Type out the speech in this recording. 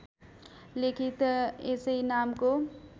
लेखित यसै नामको